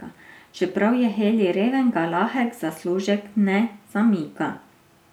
Čeprav je Heli reven, ga lahek zaslužek ne zamika.